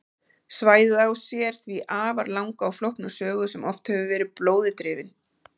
Svæðið á sér því afar langa og flókna sögu sem oft hefur verið blóði drifin.